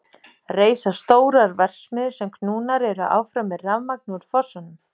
Reisa stórar verksmiðjur sem knúnar eru áfram með rafurmagni úr fossunum.